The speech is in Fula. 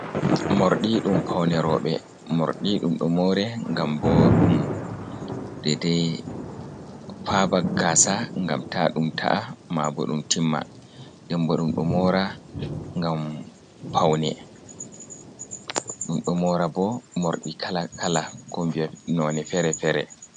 Mordi ɗum paune roɓe. Morɗi ɗum ɗo more gam bo ɗum dede paba gasa gam ta dum ta’a, ma bo ɗum timma. Denbo ɗum ɗo mora kala kala ko vi en none fere-fere.